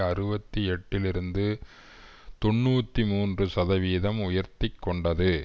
அறுபத்தி எட்டில் இருந்து தொன்னூற்றி மூன்று சதவிகிதம் உயர்த்தி கொண்டது